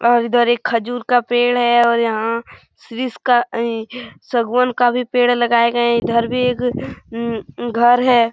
और इधर एक खजूर का पेड़ है और यहाँ सिरिस का आईं सागवान का भी पेड़ लगाए गए है इधर भी एक ऊँ ऊँ घर है।